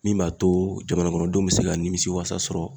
Min b'a to jamana kɔnɔdenw bɛ se ka nimisiwasa sɔrɔ.